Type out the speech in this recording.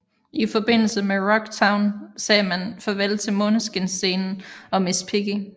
I forbindelse med Rocktown sagde man farvel til Måneskinsscenen og Miss Piggy